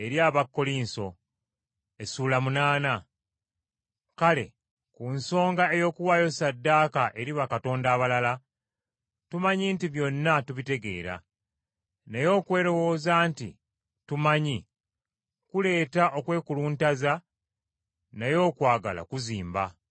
Kale ku nsonga ey’okuwaayo ssaddaaka eri bakatonda abalala: tumanyi nti byonna tubitegeera. Naye okwerowooza nti tumanyi kuleeta okwekuluntaza naye okwagala kuzimba.